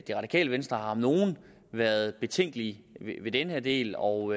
det radikale venstre har om nogen været betænkelige ved den her del og